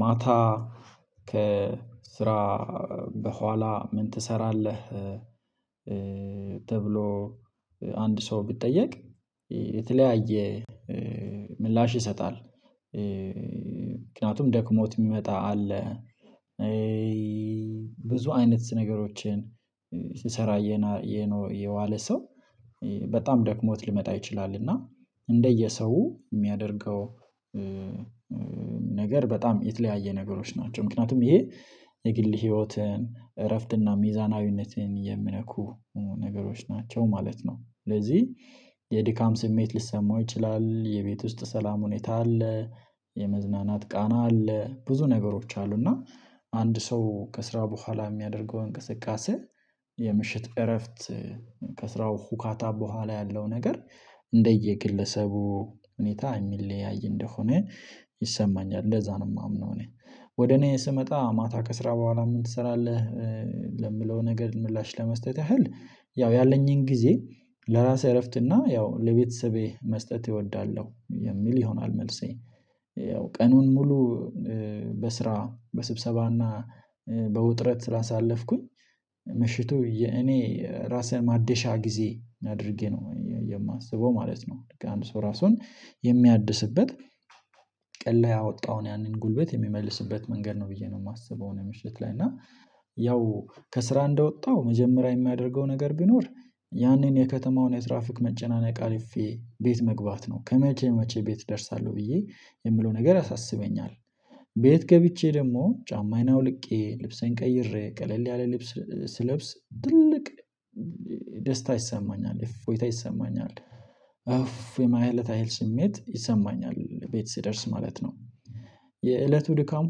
ማታ ከስራ በኋላ ምን ትሰራለህ? ተብሎ አንድ ሰው ቢጠየቅ የተለያየ ምላሽ ይሰጣል። ምክንያቱም ደክሞት ሚመጣ አለ። ብዙ አይነት ነገሮችን ስሰራ የዋለ ሰው በጣም ደክሞት ሊመጣ ይችላል። እና እንደየሰው ሚያደርገው ነገር በጣም የተለያየ ነገሮች ናቸው። ምክንያቱም ይሄ የግል ህይወትን እረፍትና ሚዛናዊነትን የሚነኩ ነገሮች ናቸው ማለት ነው። ስለዚ የድካም ስሜት ሊሰማው ይችላል። የቤት ውስጥ ሰላም ሁኔታ አለ የመዝናናት ቃና አለ ብዙ ነገሮች አሉ። እና አንድ ሰው ከስራ በኋላ ሚያደርገው እንቅስቃሴ የምሽት እረፍት ከስራው ሁካታ በኋላ ያለው ነገር እንደየግለሰቡ ሁኔታ ሚለያይ እንደሆነ ይሰማኛል እንደዛ ነው። ማምነው እኔ ወደ እኔ ስመጣ ማታ ከስራ በኋላ ምን ትሰራለህ? ለምለው ነገር ምላሽ ለመስጠት ያህል ያው ያለኝን ግዜ ለራሴ እረፍት እና ያው ለቤተሰቤ መስጠት እወዳለው የሚል ይሆናል። መልሴ ያው ቀኑን ሙሉ በስራ በስብሰባና በውጥረት ስላሳለፍኩኝ ምሽቱ እኔ ራሴን ማደሻ ጊዜ አድርጌ ነው የማስበው ማለት ነው። ልክ አንድ ሰው ራሱን የሚያድስበት ቀን ለይ ያወጣውን ያንን ጉልበት የሚመልስበት መንገድ ነው ብዬ ነው ማስበው። ምሽት ላይ እና ያው ከስራ እንደወጣው መጀመሪያ የሚያደርገው ነገር ቢኖር ያንን የከተማውን የትራፍክ መጨናነቅ አልፌ ቤት መግባት ነው። ከመቼ መቼ ቤት ደርሳለው ብዬ የምለው ነገር ያሳስበኛል። ቤት ገብቼ ደሞ ጫማዬን አውልቄ ልብሴን ቀይሬ ቀለል ያለ ልብስ ስለብስ ትልቅ ደስታ ይሰማኛል እፎይታ ይሰማኛል ኡፍ የማለት ያህል ስሜት ይሰማኛል ቤት ስደርስ ማለት ነው። የእለቱ ድካም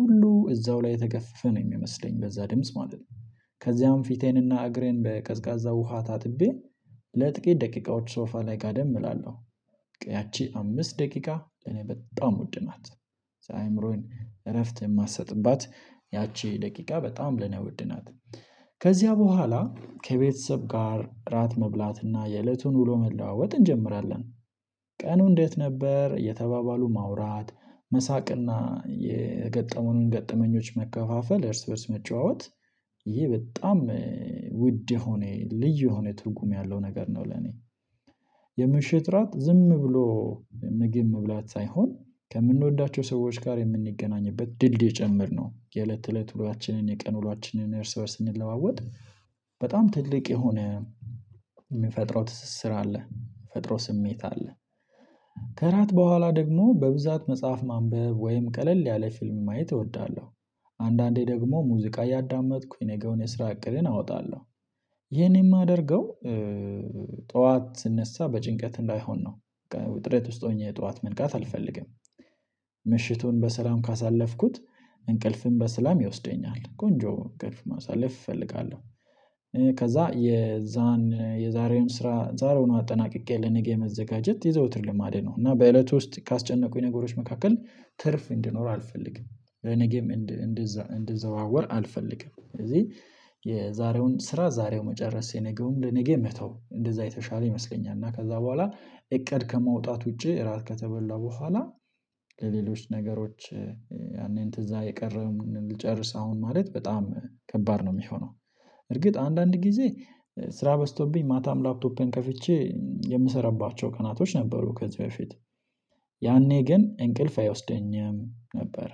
ሁሉ እዛው ላይ የተገፈፈ ነው ሚመስለኝ በዛ ድምጽ ማለት ነው። ከዚያም ፊቴንና እግሬን በቀዝቃዛ ውሃ ታጥቤ ለጥቂት ደቂቃዎች ሶፋ ላይ ጋደም እላለው። ያቺ አምስት ደቂቃ ለኔ በጣም ውድ ናት። አእምሮዬን እረፍት የማሰጥባት ያቺ ደቂቃ በጣም ለኔ ውድናት። ከዚያ በኋላ ከቤተሰብ ጋር እራት መብላትና የእለቱን ውሎ መለዋወጥ እንጀምራለን። ቀኑ እንዴት ነበር እየተባባሉ ማውራት መሳቅና የገጠሙንን ገጠመኞች መከፋፈል እርስ በእርስ መጨዋወት። ይሄ በጣም ውድ የሆነ ልዩ የሆነ ትርጉም ያለው ነገር ነው። ለኔ የምሽት ራት ዝም ብሎ ምግብ መብላት ሳይሆን ከምንወዳቸው ሰዎች ጋር የምንገናኝበት ድልድይ ጭምር ነው። የእለት እለት ውሏችንን የቀን ውሏችንን እርስ በእርስ እንለዋወጥ። በጣም ትልቅ የሆነ ምንፈጥረው ትስስር አለ ፈጥሮ ስሜት አለ። ከራት በኋላ ደግሞ በብዛት መጽሐፍ ማንበብ ወይም ቀለል ያለ ፊልም ማየት እወዳለው። አንዳንዴ ደግሞ ሙዚቃ እያዳመጥኩኝ የነገውን የስራ እቅድን አወጣለው። ይሄን የማደርገው ጠዋት ስነሳ በጭንቀት እንዳይሆን ነው። ውጥረት ውስጥ ሆኜ ጠዋት መንቃት አልፈልግም። ምሽቱን በሰላም ካሳለፍኩት እንቅልፍም በሰላም ይወስደኛል ቆንጆ እንቅልፍ ማሳለፍ እፈልጋለው። ከዛ የዛን የዛሬውን ስራ ዛሬውኑ አጠናቅቄ ለነገ የመዘጋጀት የዘውትር ልማዴ ነው። እና በእለቱ ውስጥ ካስጨነቁኝ ነገሮች መካከል ትርፍ እንዲኖር አልፈልግም። ነገም እንደዛ እንዲዘዋወር አልፈልግም ስለዚ የዛሬውን ስራ ዛሬው መጨረስ የነገውም ለነገ መተው እንደዛ የተሻለ ይመስለኛል። እና ከዛ በኋላ እቅድ ከማውጣት ውጪ እራት ከተበላ በኋላ ለሌሎች ነገሮች ያንን ትዛ የቀረውንም ልጨርስ አሁን ማለት በጣም ከባድ ነው ሚሆነው። እርግጥ አንዳንድ ጊዜ ስራ በዝቶብኝ ማታም ላፕቶፔን ከፍቼ የምሰራባቸው ቀናቶች ነበሩ ከዚ በፊት። ያኔ ግን እንቅልፍ አይወስደኝም ነበረ።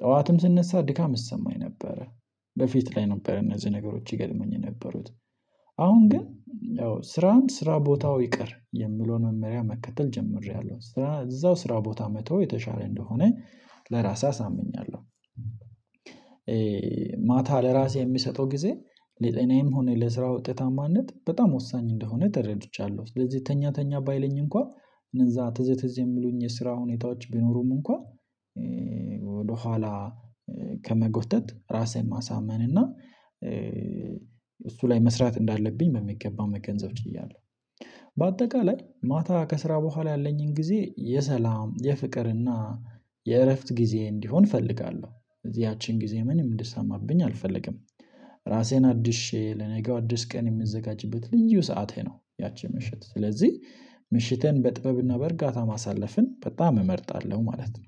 ጠዋትም ስነሳ ድካም ይሰማኝ ነበረ። በፊት ላይ ነበር እነዚ ነገሮች ይገጥሙኝ የነበሩት። አሁን ግን ስራን ስራ ቦታው ይቅር የሚለውን መመሪያ መከተል ጀምሬያለው ስራ እዛው ስራ ቦታ መተው የተሻለ እንደሆነ ለራሴ አሳምኛለው። ማታ ለራሴ የምሰጠው ጊዜ ለጤናዬም ሆነ ለስራ ውጤታማነት በጣም ወሳኝ እንደሆነ ተረድቻለው። ስለዚ ተኛ ተኛ ባይለኝ እንኳ እነዛ ትዝ ትዝ የሚሉኝ የስራ ሁኔታዎች ቢኖሩም እንኳ ወደኋላ ከመጎተት ራሴን ማሳመን እና እሱ ላይ መስራት እንዳለብኝ በሚገባ መገንዘብ ችያለው። በአጠቃላይ ማታ ከስራ በኋላ ያለኝን ጊዜ የሰላም የፍቅርና የእረፍት ጊዜ እንዲሆን እፈልጋለው። ያቺን ጊዜ ምንም እንዲሰማብኝ አልፈልግም። ራሴን አድሼ ለነገው አዲስ ቀን የምዘጋጅበት ልዩ ሰዓቴ ነው። ያቺ ምሽት ስለዚ ምሽቴን በጥበብና በእርጋታ ማሳለፍን በጣም እመርጣለው ማለት ነው።